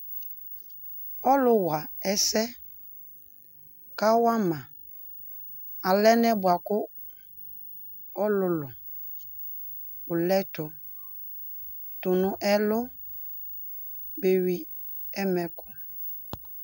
Ɔlʋ wa ɛsɛ ka wa ma alɛnɛ bua kʋ ɔlʋlʋ wʋ lɛ tʋ, tu nʋ ɛlʋ beyii ɛmɛkʋ